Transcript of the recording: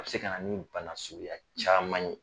A be se kana ni bana suguya caaman ye.